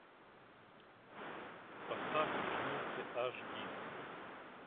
поставь жмурки аш ди